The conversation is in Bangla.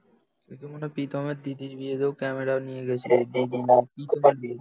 সে তো মনে হয় প্রীতমের দিদির বিয়েতেও ক্যামেরা নিয়ে গেছিল দিদি না প্রীতমের বিয়েতে